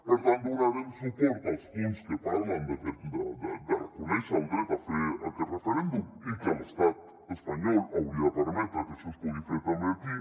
per tant donarem suport als punts que parlen de reconèixer el dret a fer aquest referèndum i que l’estat espanyol hauria de permetre que això es pugui fer també aquí